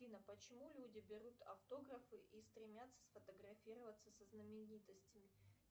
афина почему люди берут автографы и стремятся сфотографироваться со знаменитостями